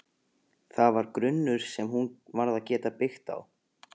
Það var grunnur sem hún varð að geta byggt á.